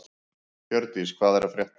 Hjördís, hvað er að frétta?